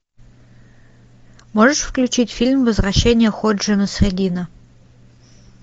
можешь включить фильм возвращение ходжи насреддина